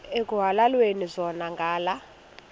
ekuhhalelwana zona ngala